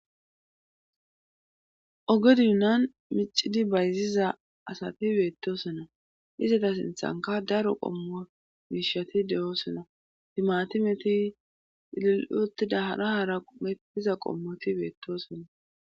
Ogedinan micidi bayziza asati beettosonna izata sinthanka daro qommo miishati de7oosona timatimeti ililotida hara hara metiza qommoti beettosonna.